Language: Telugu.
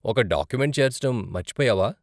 ఒక డాక్యుమెంట్ చేర్చటం మర్చిపోయావా?